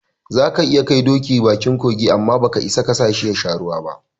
Zaka iya kai doki bakin kogi, amma baka isa kasashi yasha ruwan ba